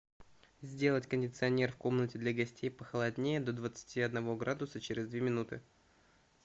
сделать кондиционер в комнате для гостей похолоднее до двадцати одного градуса через две минуты